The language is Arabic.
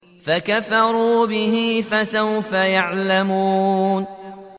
فَكَفَرُوا بِهِ ۖ فَسَوْفَ يَعْلَمُونَ